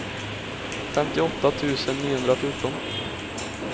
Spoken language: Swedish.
femtioåtta tusen niohundrafjorton